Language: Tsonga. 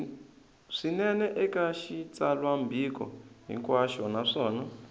swinene eka xitsalwambiko hinkwaxo naswona